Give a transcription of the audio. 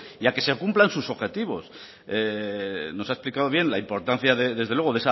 y a que se cumplan sus objetivos nos ha explicado bien la importancia desde luego